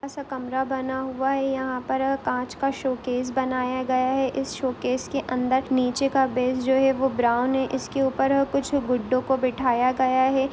छोटा सा कमरा बना हुआ है यहां पर कांच का शोकेस बनाया गया है इस शौकस के अंदर नीचे का जो बेज जो है वो ब्राउन है इसके ऊपर कुछ गुड्डो को बिठाया गया है।